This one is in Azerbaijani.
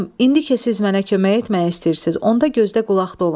Xanım, indi ki siz mənə kömək etmək istəyirsiz, onda gözlə qulaq olun.